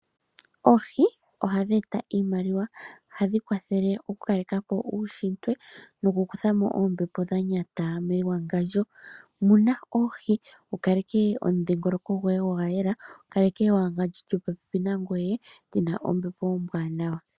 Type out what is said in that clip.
Oohi ohadhi e ta iimaliwa, ohadhi kwa thele oku kaleka po uushitwe noku kutha mo oombepo dha nyata mewangandjo. Muna oohi wu kaleke omudhingoloko goye gwa yela, wu kaleke ewangandjo lyopopepi nangoye lyina ombepo ombwaanawa.